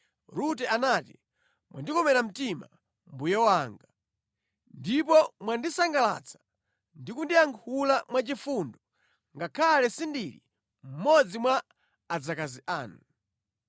Rute anati, “Mwandikomera mtima, mbuye wanga. Ndipo mwandisangalatsa ndi kundiyankhula mwa chifundo ngakhale sindili mmodzi mwa adzakazi anu.”